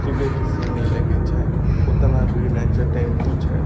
सुबेह के समय लगै छै ओतना भीड़ नै छै टेम्पू छै।